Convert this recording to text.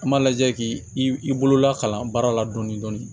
An m'a lajɛ k'i i bolola kalan baara la dɔɔni dɔɔni